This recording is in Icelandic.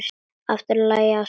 Aftur var lagt af stað.